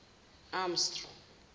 amstrong